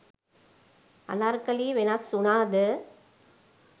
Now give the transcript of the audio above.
අනර්කලී වෙනස් වුණාද?